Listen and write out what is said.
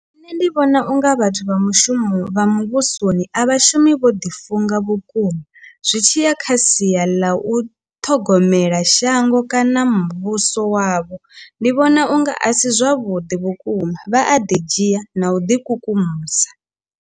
Nṋe ndi vhona unga vhathu vha mushumo vha muvhusoni a vhashumi vho ḓi funga vhukuma zwi tshiya kha sia ḽa u ṱhogomela shango kana muvhuso wavho ndi vhona unga a si zwavhuḓi vhukuma vha a ḓi dzhia na u ḓi kukumusa.